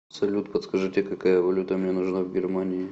салют подскажите какая валюта мне нужна в германии